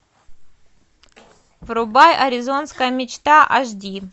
врубай аризонская мечта аш ди